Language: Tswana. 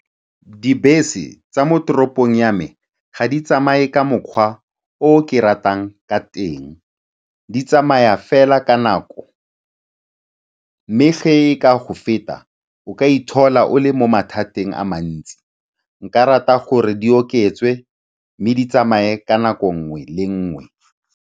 Dibese tsa mo toropong ya me ga di tsamaye ka mokgwa o ke ratang ka teng. Di tsamaya fela ka nako mme fa e ka go feta o ka iphitlhela o le mo mathateng a mantsi. Nka rata gore di okediwe mme di tsamaye ka nako nngwe le nngwe.